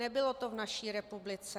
Nebylo to v naší republice.